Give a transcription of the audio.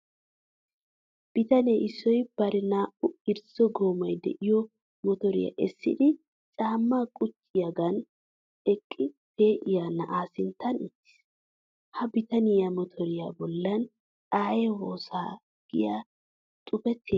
Bitane issoy bari naa"u irzzo goomay de'iyo motoriya essidi caammaa qucciyoogan aqi pee'iya na'aa sinttan uttiis. Ha bitaniya motoriya bollan aayee woosaa giya xuufetee de'es.